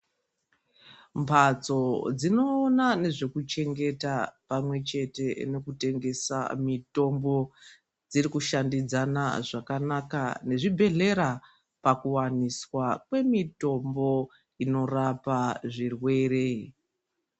Mbatso dzinoona nezvekuchengeta pamwechete nokutengesa mitombo dzirikushandidzana zvakanaka nezvibhedhlera pakuwaniswa kwemitombo inorapa zvirwere .